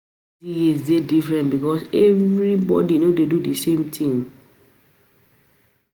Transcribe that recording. University years de different because everybody no de do the same thing